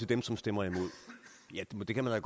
dem som stemmer imod ja det kan man